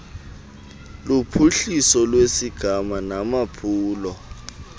luphuhliso lwesigama namaphulo